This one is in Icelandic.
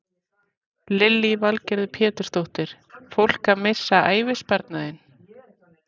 Lillý Valgerður Pétursdóttir: Fólk að missa ævisparnaðinn?